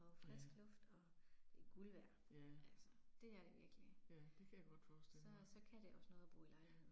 Og frisk luft og det er guld værd. Altså det er det virkelig. Så så kan det også noget at bo i lejlighed